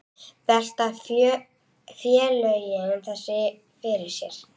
Velta félögin þessu fyrir sér?